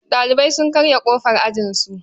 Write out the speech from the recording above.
Ɗalibai sun karya ƙofar ajinsu.